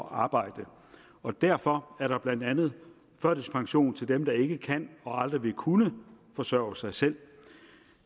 at arbejde og derfor er der blandt andet førtidspension til dem der ikke kan og aldrig vil kunne forsørge sig selv